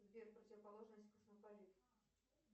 сбер противоположность космополит